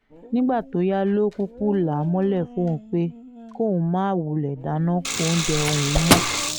nígbà tó yá ló kúkú là á mọ́lẹ̀ fóun pé kí òun máa wulẹ̀ dáná oúnjẹ fóun mọ̀